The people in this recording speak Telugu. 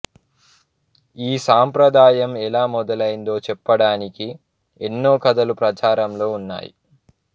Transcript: ఈ సాంప్రదాయం ఎలా మొదలైందో చెప్పడానికి ఎన్నో కథలు ప్రచారంలో ఉన్నాయి